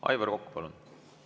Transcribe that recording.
Aivar Kokk, palun!